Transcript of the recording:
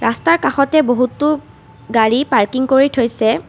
ৰাস্তাৰ কাষতে বহুতো গাড়ী পাৰ্কিং কৰি থৈছে।